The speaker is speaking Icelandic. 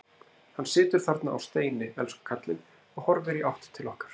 Hann situr þarna á steini, elsku kallinn, og horfir í átt til okkar.